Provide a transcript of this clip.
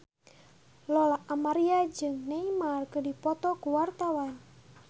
Lola Amaria jeung Neymar keur dipoto ku wartawan